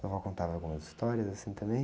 Sua vó contava algumas histórias assim também?